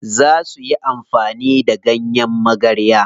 Za suyi amfani da ganyen magarya.